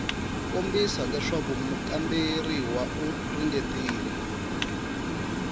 kombisa leswaku mukamberiwa u ringetile